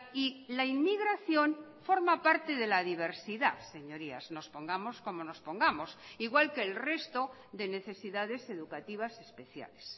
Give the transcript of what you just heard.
y la inmigración forma parte de la diversidad señorías nos pongamos como nos pongamos igual que el resto de necesidades educativas especiales